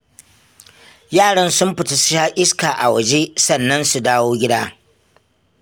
Yaran sun fita su sha iska a waje, sannan su dawo gida